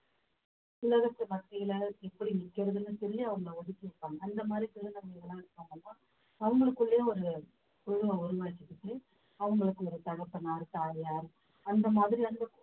சிலருக்கு மத்தியில எப்படி நிக்கிறதுன்னு சொல்லி அவங்களை ஒதுக்கி வைப்பாங்க அந்த மாதிரி திருநங்கைகள் எல்லாம் இருக்காங்கன்னா அவங்களுக்குள்ளேயும் ஒரு உறவை உருவாகிக்கிட்டு அவங்களுக்கு ஒரு தகப்பனார் தாயார் அந்த மாதிரி அந்த